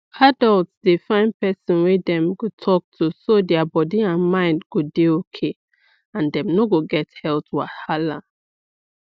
adults dey find person wey dem go talk to so their body and mind go dey okay and dem no go get health wahala